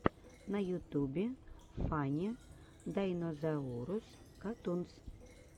на ютубе фанни дайнозаурус катунс